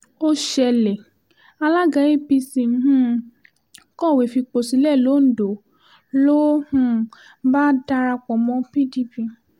ó ṣẹlẹ̀ àlaga apc um kọ̀wé fipò sílẹ̀ l'Óǹdó ló um bá darapọ̀ mọ́ pdp